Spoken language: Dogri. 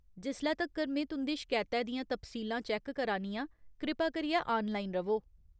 जिसले तक्कर में तुं'दी शकैतै दियां तफसीलां चैक्क करा नी आं, कृपा करियै आनलाइन र'वो।